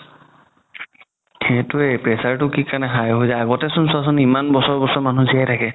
সেইটোয়ে pressure তো কি কাৰণে high হয় যাই আগতে চোন চোৱা চোন ইমান বছৰ বছৰ মানুহ জিয়াই থাকে